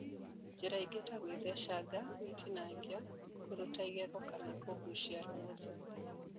Njĩra ingĩ ta gũĩthecanga, gũĩtinangia, kũruta igego kana kũgucia rũng’uthu